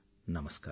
నమస్కారం